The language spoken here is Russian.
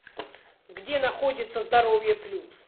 где находится здоровье плюс